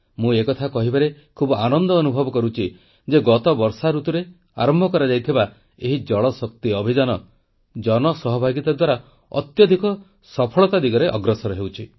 ମୁଁ ଏ କଥା କହିବାରେ ଖୁବ ଆନନ୍ଦ ଅନୁଭବ କରୁଛି ଯେ ଗତ ବର୍ଷା ଋତୁରେ ଆରମ୍ଭ କରାଯାଇଥିବା ଏହି ଜଳ ଶକ୍ତି ଅଭିଯାନ ଜନ ସହଭାଗିତା ଦ୍ୱାରା ଅତ୍ୟଧିକ ସଫଳତା ଦିଗରେ ଅଗ୍ରସର ହେଉଛି